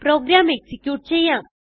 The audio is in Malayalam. പ്രോഗ്രാം എക്സിക്യൂട്ട് ചെയ്യാം